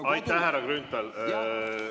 Aitäh, härra Grünthal!